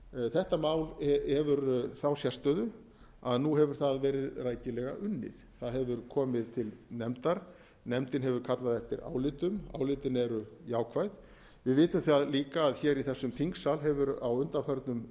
þetta mál hefur þá sérstöðu að nú hefur það verið rækilega unnið það hefur komið til nefndar nefndin hefur kallað eftir álitum álitin áður jákvæð við vitum það líka að hér í þessum þingsal hefur á undanförnum